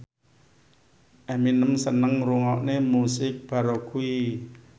Eminem seneng ngrungokne musik baroque